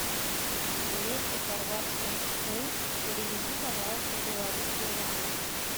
двести хорватских кун переведи пожалуйста в белорусские рубли